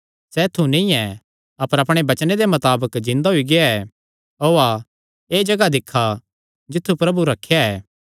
सैह़ ऐत्थु नीं ऐ अपर अपणे वचने दे मताबक जिन्दा होई गेआ ऐ ओआ एह़ जगाह दिक्खा जित्थु प्रभु रखेया था